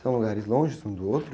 São lugares longes um do outro?